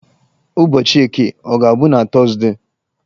Ụbọchị Eke ọ ga-abụ na Tọzdee?